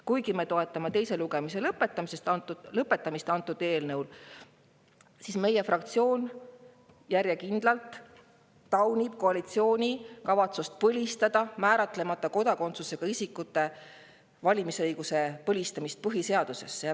Kuigi me toetame eelnõu teise lugemise lõpetamist, siis meie fraktsioon järjekindlalt taunib koalitsiooni kavatsust põlistada määratlemata kodakondsusega isikute valimisõigus põhiseaduses.